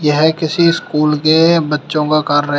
यह किसी स्कूल के बच्चों का कार्य--